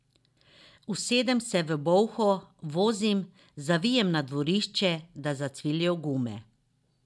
Usedem se v bolho, vozim, zavijem na dvorišče, da zacvilijo gume.